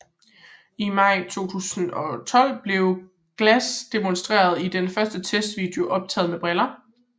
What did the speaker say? I maj 2012 blev Glass demonstreret i den første testvideo optaget med briller